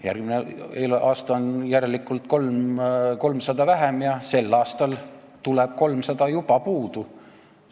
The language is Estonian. Järgmine aasta on järelikult 300 000 vähem ja sel aastal tuleb 300 000 juba puudu.